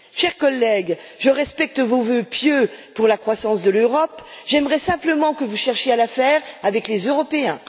Chers collègues, je respecte vos vœux pieux pour la croissance de l'Europe, j'aimerais simplement que vous cherchiez à la faire avec les Européens.